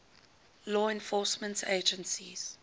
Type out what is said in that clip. law enforcement agencies